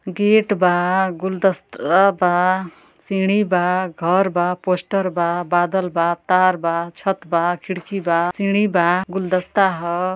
Gate बा गुलदस्त-आ बा सीढ़ी बा घर बा पोस्टर बा बादल बा तार बा छत बा खिड़की बा सीढ़ी बा गुलदस्ता ह।